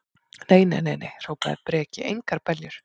Nei, nei, nei, hrópaði Breki, engar beljur.